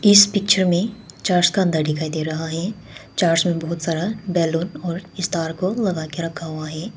इस पिक्चर में चर्च का अंदर दिखाई दे रहा है चर्च मे बहुत सारा बैलून और स्टार को लगा के रखा हुआ है।